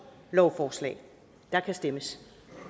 lovforslag der kan stemmes